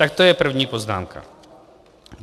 Tak to je první poznámka.